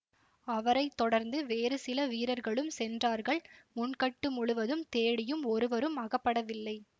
அவரை தொடர்ந்து வேறு சில வீரர்களும் சென்றார்கள் முன்கட்டு முழுவதும் தேடியும் ஒருவரும் அகப்படவில்லை